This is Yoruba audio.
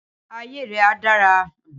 Ayé rẹ̀ a dára